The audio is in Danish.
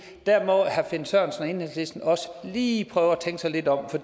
der må herre finn sørensen og enhedslisten også lige prøve at tænke sig lidt om for